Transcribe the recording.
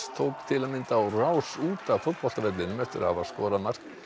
tók til að mynda á rás út af fótboltavellinum eftir að hafa skorað mark